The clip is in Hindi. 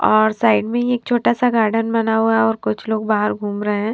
और साइड में ही एक छोटा सा गार्डन बना हुआ है और कुछ लोग बाहर घूम रहे हैं।